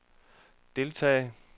deltage